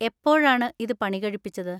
എപ്പോഴാണ് ഇത് പണി കഴിപ്പിച്ചത്?